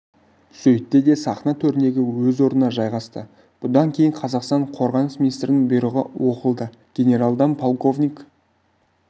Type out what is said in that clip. сөйтті де сахна төріндегі өз орнына жайғасты бұдан кейін қазақстан қорғаныс министрінің бұйрығы оқылды генералдан полковник